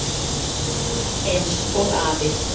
Eins og afi.